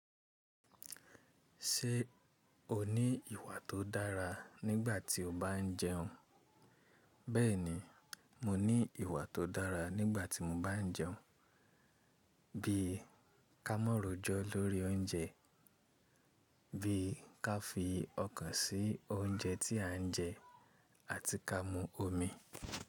Ṣé o ní ìwà tó dára nígbà tí o bá ń jẹun? Bẹ́ẹ̀ni, mo ní ìwà tó dára nígbà tí mo bá ń jẹun, bí i ká mọ̀rojọ lórí oúnjẹ, bí i ká fi ọkàn sí oúnjẹ tí à ń jẹ àti ká mú omi.